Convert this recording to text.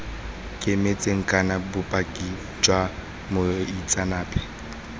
kemetseng kana bopaki jwa moitseanape